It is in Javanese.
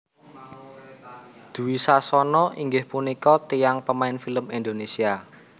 Dwi Sasono inggih punika tiyang pemain film Indonesia